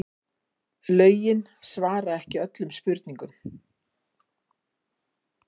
Lögin svara ekki öllum spurningum